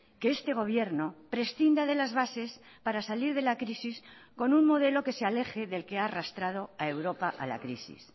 que este gobierno prescinda de las bases para salir de la crisis con un modelo que se aleje del que ha arrastrado a europa a la crisis